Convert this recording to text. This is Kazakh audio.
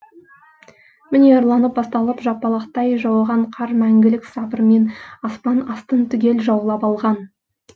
міне ұрланып басталып жапалақтай жауған қар мәңгілік сабырмен аспан астын түгел жаулап алған